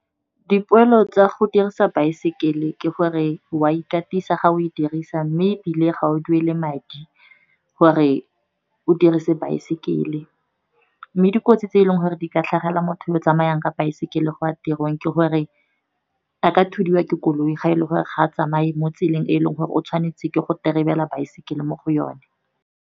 Dipoelo tsa go dirisa baesekele ke gore wa ikatisa ga o e dirisa, mme ebile ga o duele madi gore o dirise baesekele. Mme di kotsi tse e leng gore di ka tlhagelela motho yo o tsamayang ka baesekele go ya tirong, ke gore a ka thudiwa ke koloi. Ga e le gore ga a tsamaye mo tseleng e leng gore o tshwanetse ke go tereba baesekele mo go yone.